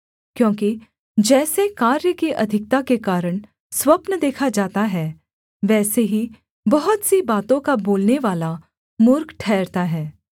क्योंकि जैसे कार्य की अधिकता के कारण स्वप्न देखा जाता है वैसे ही बहुत सी बातों का बोलनेवाला मूर्ख ठहरता है